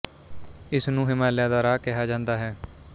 ਇਸ ਨੂੰ ਹਿਮਾਲਿਆ ਦਾ ਰਾਹ ਕਿਹਾ ਜਾਂਦਾ ਹੈ